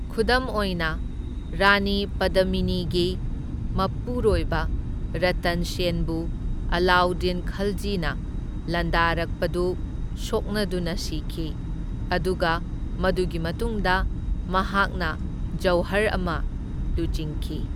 ꯈꯨꯗꯝ ꯑꯣꯏꯅ, ꯔꯥꯅꯤ ꯄꯗꯃꯤꯅꯤꯒꯤ ꯃꯄꯨꯔꯣꯏꯕ ꯔꯇꯟ ꯁꯦꯟꯗꯨ ꯑꯂꯥꯎꯗꯤꯟ ꯈꯜꯖꯤꯅ ꯂꯥꯟꯗꯥꯔꯛꯄꯗꯨ ꯁꯣꯛꯅꯗꯨꯅ ꯁꯤꯈꯤ, ꯑꯗꯨꯒ ꯃꯗꯨꯒꯤ ꯃꯇꯨꯡꯗ ꯃꯍꯥꯛꯅ ꯖꯧꯍꯔ ꯑꯃ ꯂꯨꯆꯤꯡꯈꯤ꯫